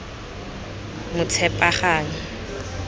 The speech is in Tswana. motshepagang